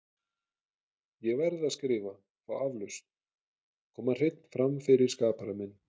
Ég verð að skrifta, fá aflausn, koma hreinn fram fyrir skapara minn.